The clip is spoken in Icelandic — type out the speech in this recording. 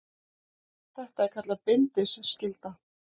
Þetta er kallað bindiskylda.